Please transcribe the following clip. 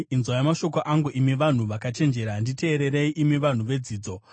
“Inzwai mashoko angu, imi vanhu vakachenjera; nditeererei, imi vanhu vedzidzo.